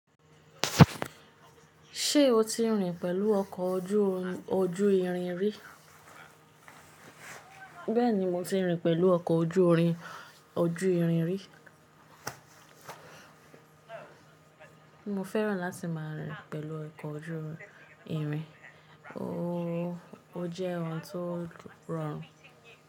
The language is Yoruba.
Ṣé o ti rìn pẹ̀lú ọkọ̀ oju ojú-irin rí? Bẹ́ẹ̀ni mo ti rìn pẹ̀lú ọkọ̀ ojú-irin oju-irin rí. Mo fẹ́ràn láti máa rìn pẹ̀lú ọkọ̀ ojú-irin, ó jẹ́ ohun tó rọrùn.